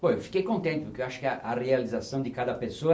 Pô, eu fiquei contente porque eu acho que a realização de cada pessoa